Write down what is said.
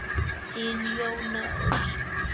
Þín Jóna Ósk.